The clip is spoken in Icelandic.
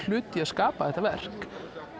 hlut í að skapa þetta verk